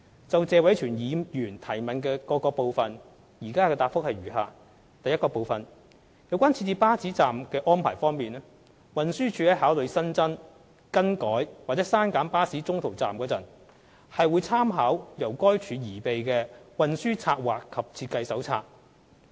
就謝偉銓議員質詢的各個部分，現答覆如下：一有關設置巴士站的安排方面，運輸署在考慮新增、更改或刪減巴士中途站時，會參考由該署擬備的《運輸策劃及設計手冊》。